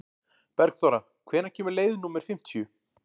Bergþóra, hvenær kemur leið númer fimmtíu?